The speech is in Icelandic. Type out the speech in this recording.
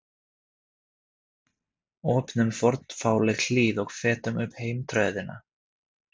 Opnum fornfálegt hlið og fetum upp heimtröðina.